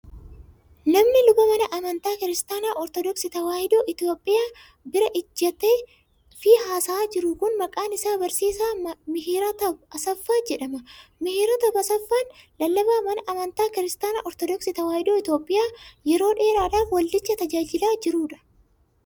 Namni luba mana amantaa Kiristaana Ortodooksii Tawaahidoo Itoophiyaa bira ijjatee fi haasa'aa jiru kun, maqaan isaa Barsiisaa Mihirataab Asaffaa jedhama. Mihirataab Asaffaan, lallabaa mana amantaa Kiristaana Ortodooksii Tawaahidoo Itoophiyaa yeroo dheeraadhaaf waldicha tajaajilaa jiruu dha